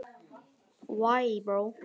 Ég verð að vilja það sjálf.